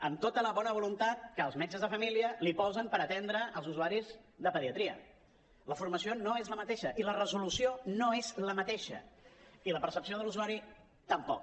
amb tota la bona voluntat que els metges de família posen per atendre els usuaris de pediatria la formació no és la mateixa i la resolució no és la mateixa i la percepció de l’usuari tampoc